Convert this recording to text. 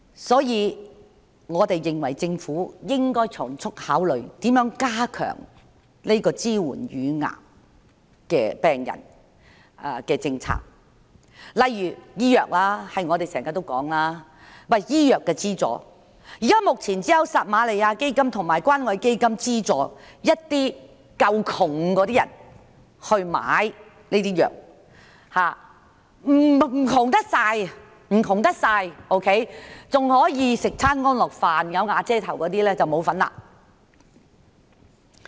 所以，我們認為政府應該從速考慮如何加強支援癌症病人的政策，例如我們經常提及的醫藥資助，現時只有撒瑪利亞基金及關愛基金資助一些"夠窮"的人士購買藥物；未算太貧窮，即是還可以舒適地吃上一頓飯、"有瓦遮頭"的人則沒有份兒。